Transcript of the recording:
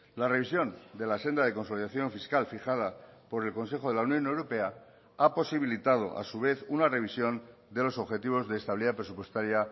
la revisión de la senda de consolidación fiscal fijada por el consejo de la unión europea ha posibilitado a su vez una revisión de los objetivos de estabilidad presupuestaria